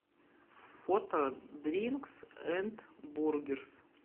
фото дринкс энд бургерс